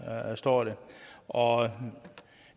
står der og